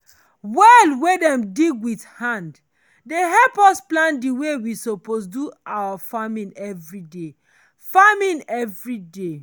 well wen dem dig wit hand dey help us plan the way we suppose dey do our farming every day. farming every day.